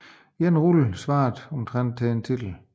En rulle svarede omtrent til en titel